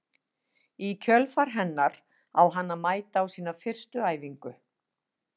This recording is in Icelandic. Í kjölfar hennar á hann að mæta á sína fyrstu æfingu.